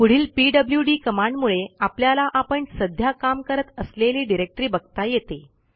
पुढील पीडब्ल्यूडी कमांडमुळे आपल्याला आपण सध्या काम करत असलेली डिरेक्टरी बघता येते